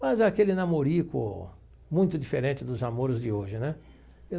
Mas aquele namorico muito diferente dos namoros de hoje, né? Eu.